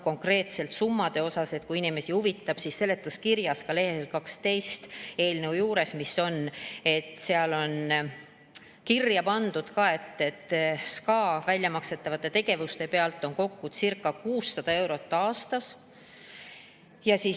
Konkreetselt summade kohta, kui inimesi huvitab: seletuskirjas on leheküljel 12 kirjas, et SKA väljamakstavate tegevuste pealt kokku circa 600 eurot aastas.